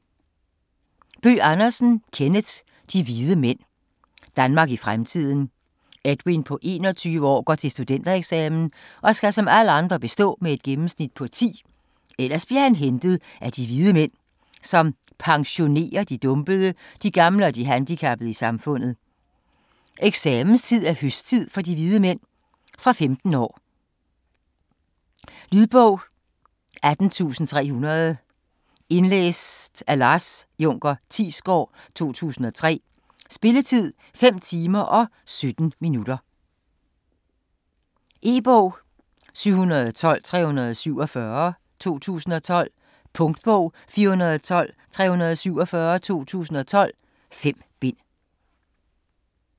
Bøgh Andersen, Kenneth: De Hvide Mænd Danmark i fremtiden. Edwin på 21 år går til studentereksamen og skal som alle andre bestå med et gennemsnit på 10, ellers bliver man hentet af De Hvide Mænd, som "pensionerer" de dumpede, de gamle og de handicappede i samfundet. Eksamenstid er "høsttid" for De Hvide Mænd ... Fra 15 år. Lydbog 18300 Indlæst af Lars Junker Thiesgaard, 2003. Spilletid: 5 timer, 17 minutter. E-bog 712347 2012. Punktbog 412347 2012. 5 bind.